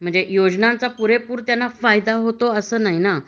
म्हणजे योजनांचा त्यांना पुरेपूर फायदा होतो अस नाही ना